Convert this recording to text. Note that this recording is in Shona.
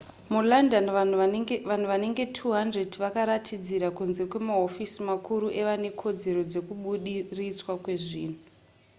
mulondon vanhu vanenge 200 vakaratidzira kunze kwemahofisi makuru evane kodzero dzekuburitswa kwezvinhu